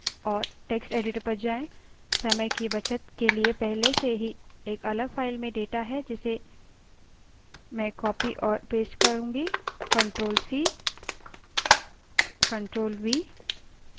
समय की बचत के लिए पहले से ही एक अलग file में data है जिसे मैं copy और paste ctrl + c; ctrl + v करती हूँ